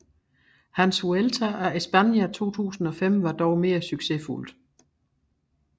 Hans Vuelta a España 2005 var dog mere succesfuldt